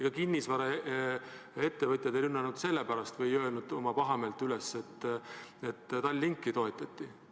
Ega kinnisvaraettevõtjad ei rünnanud või näidanud oma pahameelt üles mitte selle pärast, et Tallinkit toetati.